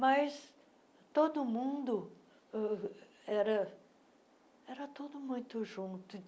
Mas todo mundo uh era era tudo muito junto.